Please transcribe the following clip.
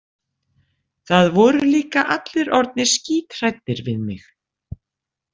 Það voru líka allir orðnir skíthræddir við mig.